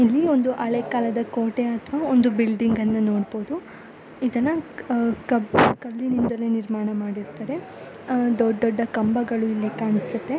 ಇಲ್ಲಿ ಒಂದು ಹಳೆಕಾಲದ ಕೋಟೆ ಅಥವಾ ಬಿಲ್ಡಿಂಗ್ ಅಣ್ಣ ನೋಡಬಹುದು ಇದನ್ನ ಕಲ್ಲಿನಿಂದ ನಿರ್ಮಾಣ ಮಾಡಿರುತಾರೆ ದೊಡ್ಡ ದೊಡ್ಡ ಕಂಬಗಳು ಇಲ್ಲಿ ಕಾಣಿಸುತ್ತೆ.